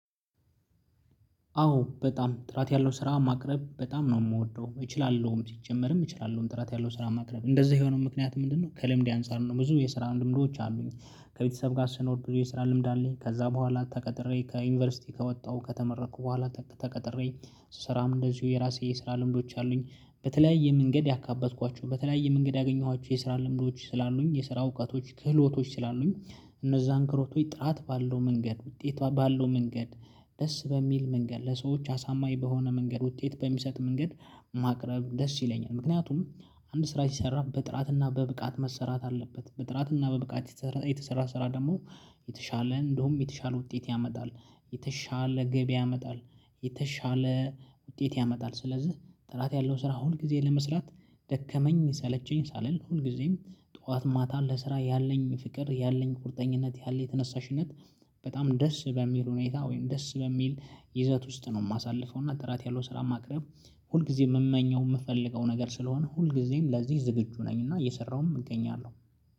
አዎ በጣም ጥራት ያለው ስራ ማቅረብ በጣም ነው የምወደው እችላለሁም ሲጀመርም እችላለሁም ጥራት ያለው ስራ ማቅረብ እንደዚህ የሆነው ምክንያት ምንድነው ከለምዴ አንፃር ነው? ብዙ የስራ ልምዶች አሉኝ ከቤተሰብ ጋር ስኖርኩ የስራ ልምድ አለኝ። ከዛ በኋላ ተቀጥሬ ከዩኒቨርሲቲ ከወጣሁ ከተመረኩ በኋላ ተቀጥሬ ስሰራም እንደዚሁ የራሴ የስራ ልምዶች አሉኝ በተለያየ መንገድ ያካበትኳቸው በተለያየ መንገድ ያገኘኋቸው የስራ ልምዶች ስላሉኝ የስራ እውቀቶች ክህሎቶች ስላሉኝ። እነዛ እንክሮቶይ ጥራት ባለው መንገድ ውጤቷ ባለው መንገድ ደስ በሚል መንገድ ለሰዎች አሳማኝ በሆነ መንገድ ውጤት በሚሰጥ መንገድ ማቅረብ ደስ ይለኛል። ምክንያቱም አንድ ስራ ይሰራል በጥራትና በብቃት መሰራት አለበት። በጥራትና በብቃት የተሰራ ስራ ደግሞ የተሻለ እንደውም የተሻለ ውጤት ያመጣል። የተሻለ ገቢ ያመጣል። የተሻለ ውጤት ያመጣል። ስለዚህ ጥራት ያለው ስራ ሁል ጊዜ ለመስራት ደከመኝ ሰለቸኝ ሳልል ሁል ሁልጊዜም ጠዋት ማታ ለስራ ያለኝ ፍቅር ያለኝ ቁርጠኝነት ያለኝ ተነሳሽነት። በጣም ደስ በሚል ሁኔታ ወይም ደስ በሚል ይዘት ውስጥ ነው የማሳልፈው። እና ጥራት ያለው ስራ ማቅረብ ሁል ጊዜ የምመኘው የምፈልገው ነገር ስለሆነ ሁል ጊዜም ለዚህ ዝግጁ ነኝ እና እየሰራውም እገኛለሁ።